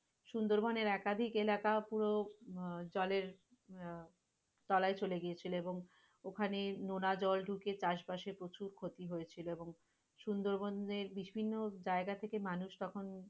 সুন্দরবনের একাধিক এলাকা পুরো আহ জলের আহ তলায় চলে গিয়েছিল এবং ওখানে নোনা জল ঢুকে চাষবাসের প্রচুর ক্ষতি হয়েছিল এবং সুন্দরবনের বিভিন্ন যায়গা থেকে মানুষ তখন,